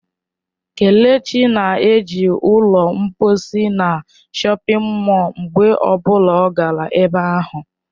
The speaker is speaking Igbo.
Kelechi na-eji ụlọ mposi na shọpin mọll mgbe ọ bụla ọ gara ebe ahụ.